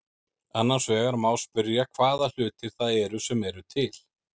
Annars vegar má spyrja hvaða hlutir það eru sem eru til.